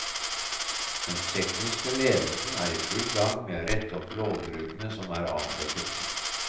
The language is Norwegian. Den tekniske ledelsen er i full gang med å rette opp lovbruddene som er avdekket.